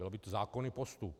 Byl by to zákonný postup.